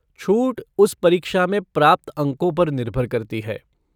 छूट उस परीक्षा में प्राप्त अंकों पर निर्भर करती है।